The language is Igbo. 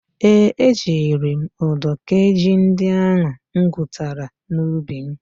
Ee, ejiri m ụdọ kee ji ndị ahụ m gwutara n'ubi m.